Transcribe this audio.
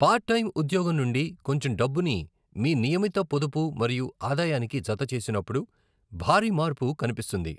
Part time ఉద్యోగం నుండి కొంచెం డబ్బుని మీ నియమిత పొదుపు మరియు ఆదాయానికి జత చేసినప్పుడు భారీ మార్పు కనిపిస్తుంది.